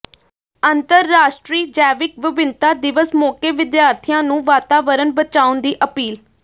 ਅੰਤਰਰਾਸ਼ਟਰੀ ਜੈਵਿਕ ਵਿਭਿੰਨਤਾ ਦਿਵਸ ਮੌਕੇ ਵਿਦਿਆਰਥੀਆਂ ਨੂੰ ਵਾਤਾਵਰਨ ਬਚਾਉਣ ਦੀ ਅਪੀਲ